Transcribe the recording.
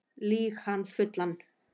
Lýg hann fullan